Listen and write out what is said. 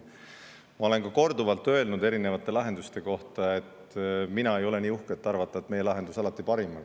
Ma olen korduvalt öelnud erinevate lahenduste kohta, et mina ei ole nii uhke, et arvata, et meie lahendus alati parim on.